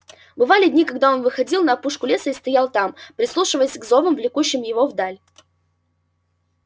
бывали дни когда он выходил на опушку леса и стоял там прислушиваясь к зовам влекущим его вдаль